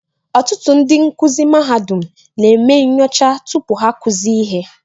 Ọtụtụ ndị nkuzi mahadum na-eme nyocha tupu ha-akụzie ihe